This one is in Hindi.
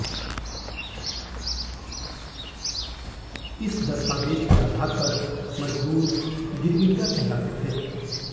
इस दस्तावेज के आधार पर मज़दूर गिरमिटिया कहलाते थे